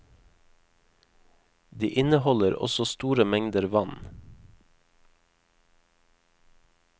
De inneholder også store mengder vann.